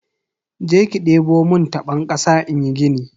Jeki debo mun tabon kasa inyi gini.